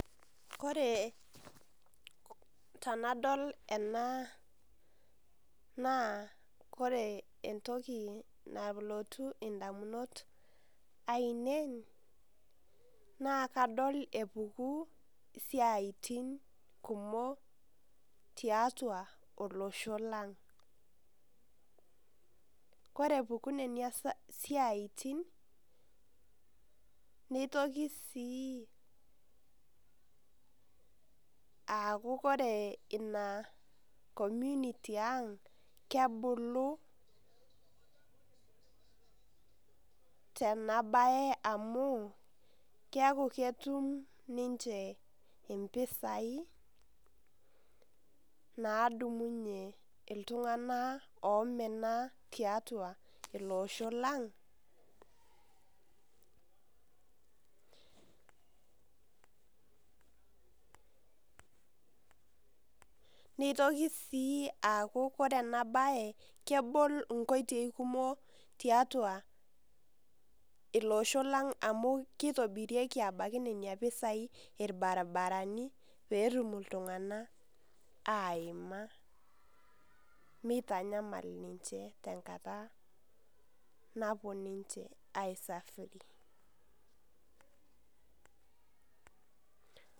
Kore tanadol ena naa, kore entoki nalotu indamunot ainei, naa kadol epuku isiaitin kumok tiatua olosho lang'. Kore epuku nenia siaitin, nitoki si aaku kore ina community ang' kebulu, tenabae amu, keeku ketum ninche impisai, naadumunye iltung'anak omena tiatua ilosho lang', nitoki si aaku kore enabae kebol inkotei kumok tiatua ilosho lang' amu kitobirieki ebaki nena pisai irbaribarani, petum iltung'anak aima, mitanyamal ninche tenkata napuo ninche ai safiri.